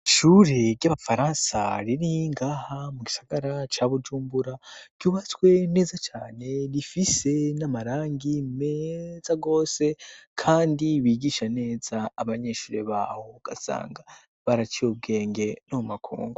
Ishure ry'abafaransa riri ngaha mu gisagara ca Bujumbura ryubatswe neza cane rifise n'amarangi meza rwose kandi bigisha neza abanyeshure bahou gasanga baraciye ubwenge no makungu.